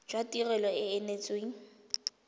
jwa tirelo e e neetsweng